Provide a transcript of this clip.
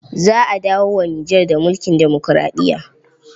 Za a dawo wa Nijar da mulkin demokuraɗiya.